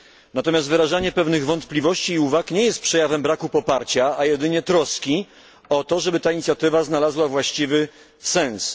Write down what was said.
Natomiast wyrażanie pewnych wątpliwości i uwag nie jest przejawem braku poparcia, a jedynie troski o to, żeby ta inicjatywa znalazła właściwy sens.